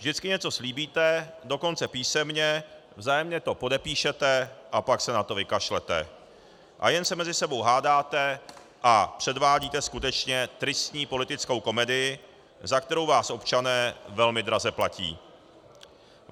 Vždycky něco slíbíte, dokonce písemně, vzájemně to podepíšete, a pak se na to vykašlete a jen se mezi sebou hádáte a předvádíte skutečně tristní politickou komedii, za kterou vás občané velmi draze platí.